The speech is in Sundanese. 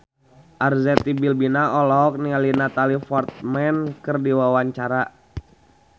Arzetti Bilbina olohok ningali Natalie Portman keur diwawancara